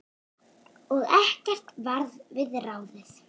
Og ekkert varð við ráðið.